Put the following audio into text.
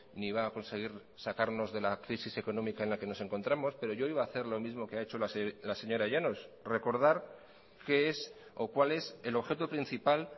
ni va a conseguir sacarnos de la crisis económica en la que nos encontramos pero yo iba a hacer lo mismo que ha hecho la señora llanos recordar qué es o cuál es el objeto principal